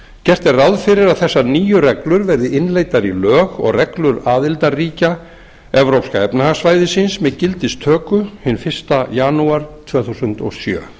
gert er ráð fyrir að þessar nýju reglur verði innleiddar í lög og reglur aðildarríkja evrópska efnahagssvæðisins með gildistöku hinn fyrsta janúar tvö þúsund og sjö